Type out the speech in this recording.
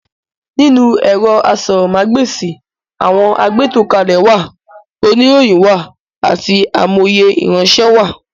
Nínú ẹ̀rọ asọ̀rọ̀mágb'èsì, àwọn agbétòkalẹ̀ wà, oníròyìn wà àti amòye ìránṣẹ́ wá.